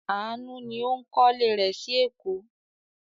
Àánú ni ó ń kọ́lé rẹ̀ sí Èkó.